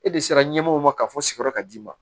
E de sera ɲɛmɔgɔw ma ka fɔ sigiyɔrɔ ka d'i ma